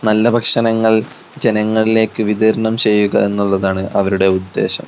നല്ല ഭക്ഷണങ്ങൾ ജനങ്ങളിലേക്ക് വിതരണം ചെയ്യുക എന്നുള്ളതാണ് അവരുടെ ഉദ്ദേശം.